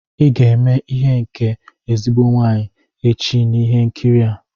Ị ga-eme ihe nke ezigbo nwunye echi n'ihe nkiri a!